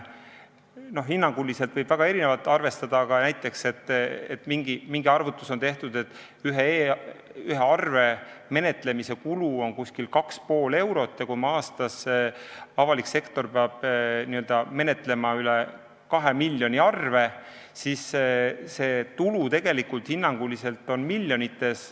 Hinnanguliselt võib väga erinevalt arvestada, aga näiteks on tehtud mingi arvutus, et ühe arve menetlemise kulu on umbes 2,5 eurot ja kui aastas peab avalik sektor menetlema üle 2 miljoni arve, siis see tulu, mis me sealt võidame, on hinnanguliselt miljonites.